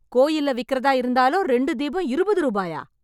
கோயில்ல விக்கிறதா இருந்தாலும் ரெண்டு தீபம் இருபது ரூபாயா?